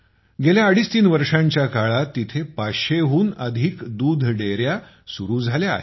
गेल्या अडीचतीन वर्षांच्या काळात तेथे 500 हून अधिक दुग्धविकास एकके सुरु झाली आहेत